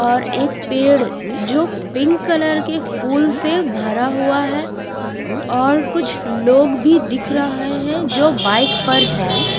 और एक पेड़ जो पिंक कलर के फूल से भरा हुआ है और कुछ लोग भी दिख रहें है जो बाइक पर है।